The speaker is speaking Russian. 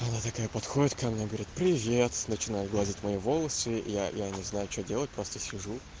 она такая подходит ко мне и говорит привет начинает гладить мои волосы и я я не знаю что делать просто сижу